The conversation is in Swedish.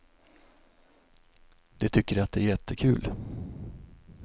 De tycker att det är jättekul.